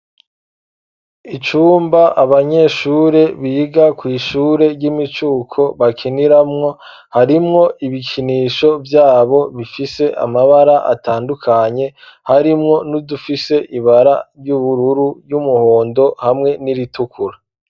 Icumba abanyeshure biga kw'ishure ry'imicuko, bakiniramwo harimwo ibikinisho vyabo ,bifise amabara atandukanye, harimwo n'udufise ibara ry'ubururu, ry'umuhondo ,hamwe n'iritukura.